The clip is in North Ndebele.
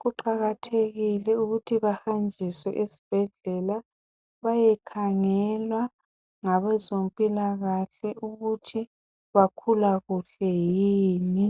kuqakathekile ukuthi bahanjiswe esbhedlela beyekhangelwa ngabezempilakahle ukuthi bakhula kuhle yini.